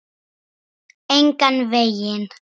Engan veginn